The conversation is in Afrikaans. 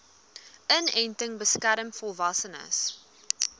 inenting beskerm volwassenes